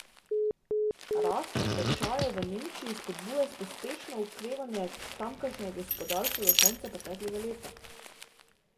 Rast tečajev v Nemčiji spodbuja pospešeno okrevanje tamkajšnjega gospodarstva ob koncu preteklega leta.